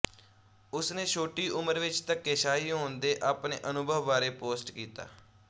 ਉਸਨੇ ਛੋਟੀ ਉਮਰ ਵਿੱਚ ਧੱਕੇਸ਼ਾਹੀ ਹੋਣ ਦੇ ਆਪਣੇ ਅਨੁਭਵ ਬਾਰੇ ਪੋਸਟ ਕੀਤਾ